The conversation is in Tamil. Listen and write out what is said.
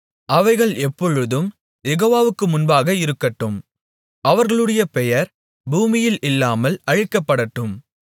அவைகள் எப்பொழுதும் யெகோவாவுக்கு முன்பாக இருக்கட்டும் அவர்களுடைய பெயர் பூமியில் இல்லாமல் அழிக்கப்படட்டும்